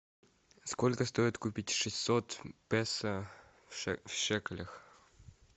сколько стоит купить шестьсот песо в шекелях